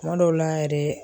Kuma dɔw la yɛrɛ